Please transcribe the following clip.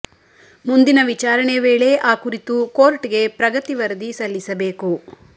ಮುಂದಿನ ವಿಚಾರಣೆ ವೇಳೆ ಆ ಕುರಿತು ಕೋರ್ಟ್ಗೆ ಪ್ರಗತಿ ವರದಿ ಸಲ್ಲಿಸಬೇಕು